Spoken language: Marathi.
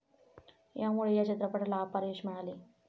यामुळे या चित्रपटाला अपार यश मिळाले